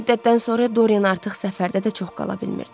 Bir müddətdən sonra Dorian artıq səfərdə də çox qala bilmirdi.